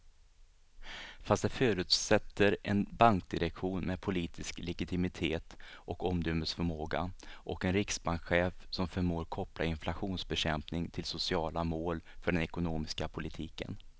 Fast det förutsätter en bankdirektion med politisk legitimitet och omdömesförmåga och en riksbankschef som förmår koppla inflationsbekämpning till sociala mål för den ekonomiska politiken.